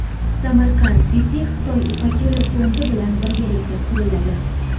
Samarkand City Xitoy Ipak yo‘li fondi bilan birgalikda quriladi.